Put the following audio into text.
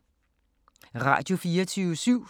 Radio24syv